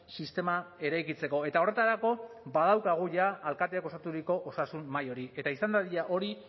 sistema eraikitzeko eta horretarako badaukagu jada alkateak osaturiko osasun mahai hori eta izan dadila hori